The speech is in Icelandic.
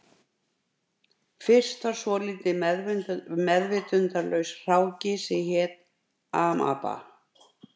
Fyrst var svolítill meðvitundarlaus hráki sem hét amaba